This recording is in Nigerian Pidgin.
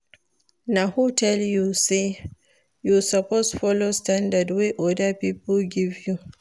Na who tell you sey you suppose folo standard wey oda pipo give you?